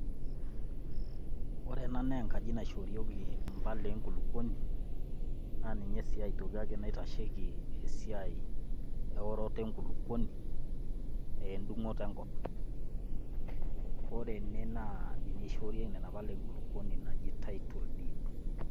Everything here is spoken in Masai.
ore ena naa enkaji naishoorieki impala enkulupuoni, naa ninye sii aitoki ake naiashieki esiiai eorota enkulupuoni wedung'oto enkop. ore ene naa ninye ishoorieki nena pala enkulupuoni naji title deed.